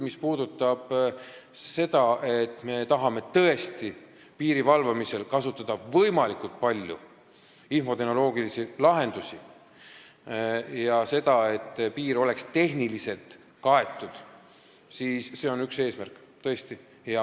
Mis puudutab seda, et me tahame piiri valvamisel kasutada võimalikult palju infotehnoloogilisi lahendusi, nii et piir oleks tehniliselt kaetud, siis see on tõesti üks eesmärke.